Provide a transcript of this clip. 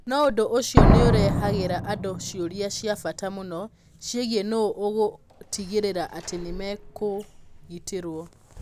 No ũndũ ũcio nĩ ũrehagĩra andũ ciũria cia bata mũno, ciĩgiĩ nũũ ũgũtigĩrĩra atĩ nĩ mekũgitĩrũo.